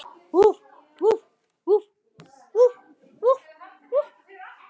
Núðlur eiga sér langa sögu.